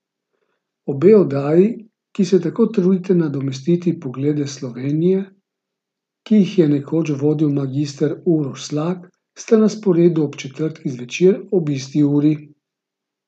Obe oddaji, ki se tako trudita nadomestiti Poglede Slovenije, ki jih je nekoč vodil magister Uroš Slak, sta na sporedu ob četrtkih zvečer ob isti uri.